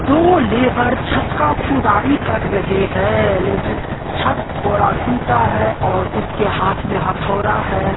दो लेबर छत का खुदाई कर रहे हैं लेकिन छत थोड़ा टुटा है और उसके हाथ में हथौड़ा है।